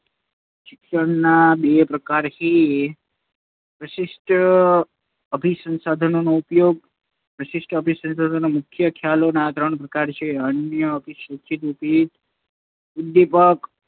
શિક્ષણ ના બે પ્રકાર છે. પ્રશિષ્ટ અભિસણસદનોનો ઉપયોગ પ્રશિષ્ટ અભિસણસદનો ના ખ્યાલો ના ત્રણ પ્રકાર છે. અનઅભીસંધિત ઉદીપક